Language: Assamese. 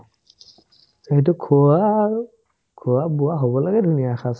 সেইটো খোৱা আৰু খোৱা-বোৱা হৈ হ'বলে ধুনীয়া এসাজ